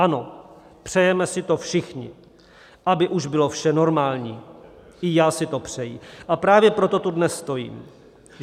Ano, přejeme si to všichni, aby už bylo vše normální, i já si to přeji, a právě proto tu dnes stojím.